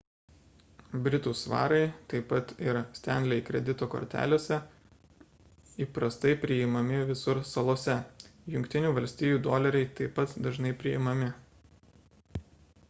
britų svarai taip pat ir stanley kredito kortelėse įprastai priimami visur salose jungtinių valstijų doleriai taip pat dažnai priimami